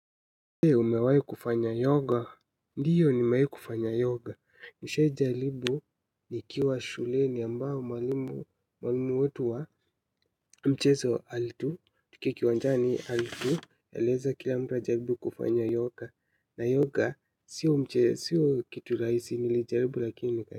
Umewahi kufanya yoga, ndiyo ni nimewahi kufanya yoga, nishaijaribu nikiwa shuleni ambao mwalimu, mwalimu wetu wa mchezo alitu, tukiwa uwanjani alitu, eleza kila mtu ajaribu kufanya yoga, na yoga siyo mche, siyo kitu rahisi nilijaribu lakini nika.